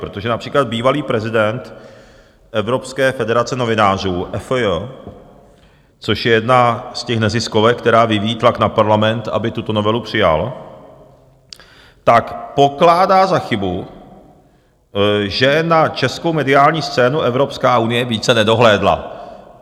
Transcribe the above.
Protože například bývalý prezident Evropské federace novinářů, EFJ, což je jedna z těch neziskovek, která vyvíjí tlak na Parlament, aby tuto novelu přijal, tak pokládá za chybu, že na českou mediální scénu Evropská unie více nedohlédla.